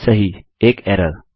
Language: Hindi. सही एक एरर160